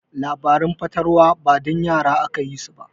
Labaran fatalwa ba dan yara aka yi su ba.